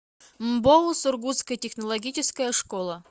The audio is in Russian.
мбоу сургутская технологическая школа